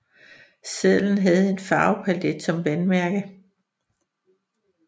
Sedlen havde en farvepalet som vandmærke